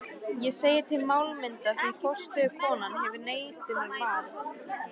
Ég segi til málamynda, því forstöðukonan hefur neitunarvald.